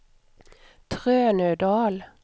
Trönödal